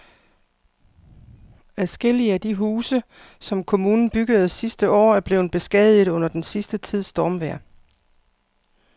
Adskillige af de huse, som kommunen byggede sidste år, er blevet beskadiget under den sidste tids stormvejr.